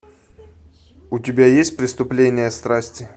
у тебя есть преступление страсти